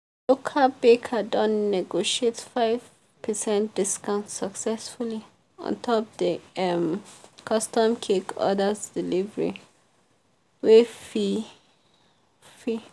the local baker don negotiate five percent discount successfully ontop the um custom cake order's delivery um fee fee.